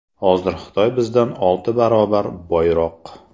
Hozir Xitoy bizdan olti barobar boyroq.